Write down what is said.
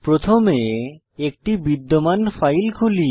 প্রথমে একটি বিদ্যমান ফাইল খুলি